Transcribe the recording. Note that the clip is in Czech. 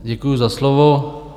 Děkuju za slovo.